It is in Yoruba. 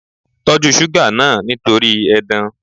Tọ́jú suga náà nítorí edan.